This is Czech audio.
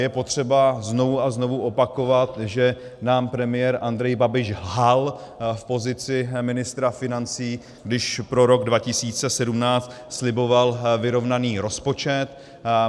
Je potřeba znovu a znovu opakovat, že nám premiér Andrej Babiš lhal v pozici ministra financí, když pro rok 2017 sliboval vyrovnaný rozpočet.